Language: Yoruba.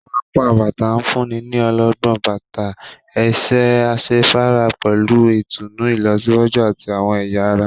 Awọn apá bàtà nfunni ní ọlọgbọn, bàtà ẹsẹ asefara pẹlú ìtùnú ilọsiwaju ati awọn ẹya ará